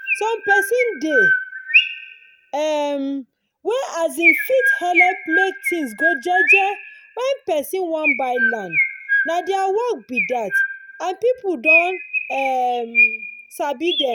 some pesin dey um wey um fit helep make tins go jeje wen pesin wan buy land nah their work be that and people don um sabi them